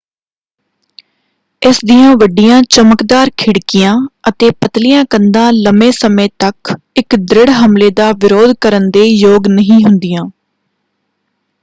ਇਸ ਦੀਆਂ ਵੱਡੀਆਂ ਚਮਕਦਾਰ ਖਿੜਕੀਆਂ ਅਤੇ ਪਤਲੀਆਂ ਕੰਧਾਂ ਲੰਬੇ ਸਮੇਂ ਲਈ ਇੱਕ ਦ੍ਰਿੜ ਹਮਲੇ ਦਾ ਵਿਰੋਧ ਕਰਨ ਦੇ ਯੋਗ ਨਹੀਂ ਹੁੰਦੀਆਂ।